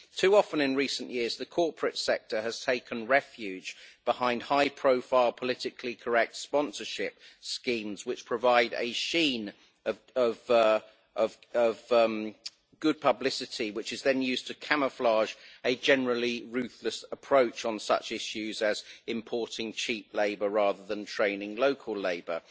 Too often in recent years, the corporate sector has taken refuge behind high profile, politically correct sponsorship schemes which provide a sheen of good publicity, which is then used to camouflage a generally ruthless approach on such issues as importing cheap labour rather than training local labour.